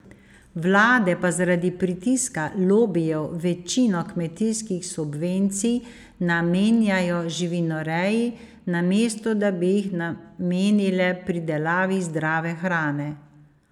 Vlade pa zaradi pritiska lobijev večino kmetijskih subvencij namenjajo živinoreji, namesto da bi jih namenile pridelavi zdrave hrane.